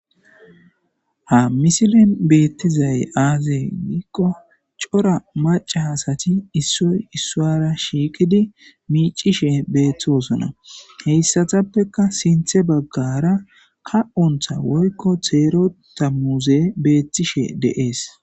Ha misilen beeththizay aazee giikko cora macca asathi issoy issuuwaara shiiqidi miiccishee beeththoosona; heyssathappekka siththa baggaara ka7onththa woykko theerooththa muuzee beeththishee de7ees.